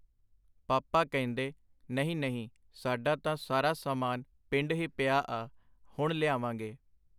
ਪਾਪਾ ਕਹਿੰਦੇ, ” ਨਹੀਂ, ਨਹੀਂ ਸਾਡਾ ਤਾਂ ਸਾਰਾ ਸਮਾਨ ਪਿੰਡ ਹੀ ਪਿਆ ਆ, ਹੁਣ ਲਿਆਵਾਂ ਗੇ.